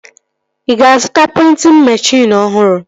Ị ga-azụta prịntịn meshịn ọhụrụ?